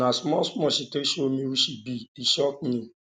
na small small she take show me who she be e shock me